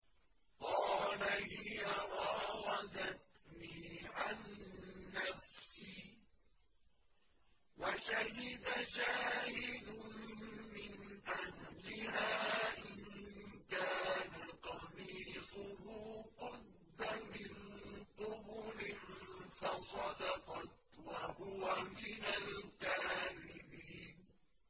قَالَ هِيَ رَاوَدَتْنِي عَن نَّفْسِي ۚ وَشَهِدَ شَاهِدٌ مِّنْ أَهْلِهَا إِن كَانَ قَمِيصُهُ قُدَّ مِن قُبُلٍ فَصَدَقَتْ وَهُوَ مِنَ الْكَاذِبِينَ